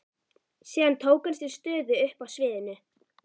Síðan tók hann sér stöðu uppi á sviðinu.